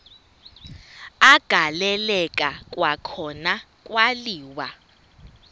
agaleleka kwakhona kwaliwa